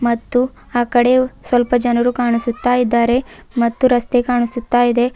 ಮತ್ತು ಆ ಕಡೆಯು ಸ್ವಲ್ಪ ಜನರು ಕಾಣಿಸುತ್ತಾ ಇದ್ದಾರೆ ಮತ್ತು ರಸ್ತೆ ಕಾಣಿಸುತ್ತಾ ಇದೆ.